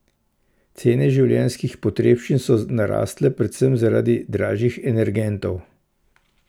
Cene življenjskih potrebščin so narasle predvsem zaradi dražjih energentov.